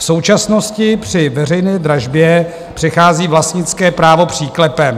V současnosti při veřejné dražbě přechází vlastnické právo příklepem.